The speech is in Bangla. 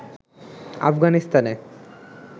আফগানিস্তানে